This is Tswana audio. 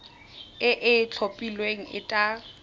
e e itlhophileng e tla